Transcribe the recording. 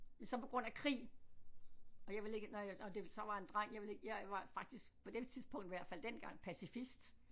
Men så på grund af krig og jeg ville ikke når jeg når det så var en dreng jeg ville ikke jeg var faktisk på det tidspunkt i hvert fald dengang pacifist